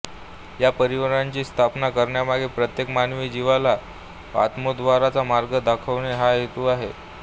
या परिवाराची स्थापना करण्यामागे प्रत्येक मानवी जिवाला आत्मोद्धाराचा मार्ग दाखवणे हा हेतू आहे